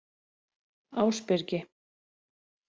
Ásbyrgi